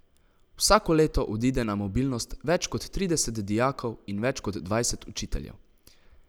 Vsako leto odide na mobilnost več kot trideset dijakov in več kot dvajset učiteljev.